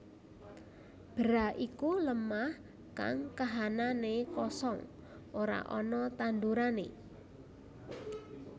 Bera iku lemah kang kahananné kosong ora ana tandurané